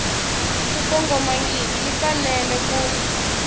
ku kongomangiki yi fanele ku